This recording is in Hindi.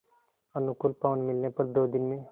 अनुकूल पवन मिलने पर दो दिन में